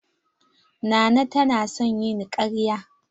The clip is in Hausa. Nana ta na son yin karya.